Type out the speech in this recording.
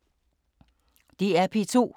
DR P2